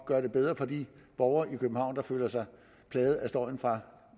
gøre det bedre for de borgere i københavn der føler sig plaget af støjen fra